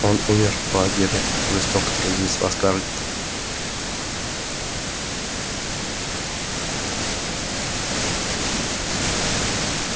он умер в лагере жёстко произнесла скарлетт